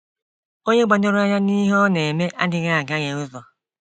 Onye gbadoro anya n'ihe ọ na-eme adịghị agaghe ụzọ.